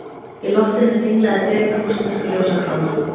Í loftinu dinglaði dauf rússnesk ljósakróna.